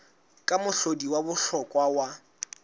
ke mohlodi wa bohlokwa wa